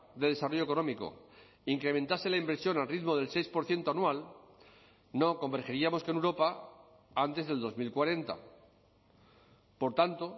de desarrollo económico incrementase la inversión al ritmo del seis por ciento anual no convergeríamos con europa antes del dos mil cuarenta por tanto